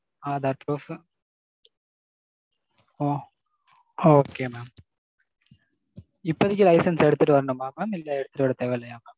aadhar proof. ஓ okay mam. இப்போதைக்கு license எடுத்துட்டு வரணுமா mam. இல்ல எடுத்துட்டு வர தேவை இல்லையா mam?